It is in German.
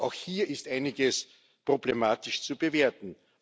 Auch hier ist einiges problematisch zu bewerten.